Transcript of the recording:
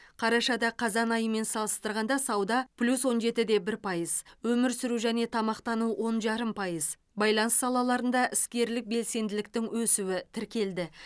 қарашада қазан айымен салыстырғанда сауда плюс он жеті де бір пайыз өмір сүру және тамақтану он жарым пайыз байланыс салаларында іскерлік белсенділіктің өсуі тіркелді